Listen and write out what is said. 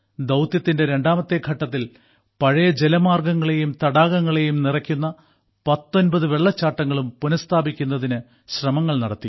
ദൌത്യത്തിന്റെ രണ്ടാമത്തെ ഘട്ടത്തിൽ പഴയ ജലമാർഗ്ഗങ്ങളെയും തടാകങ്ങളെയും നിറയ്ക്കുന്ന 19 വെള്ളച്ചാട്ടങ്ങളും പുനഃസ്ഥാപിക്കുന്നതിനു ശ്രമങ്ങൾ നടത്തി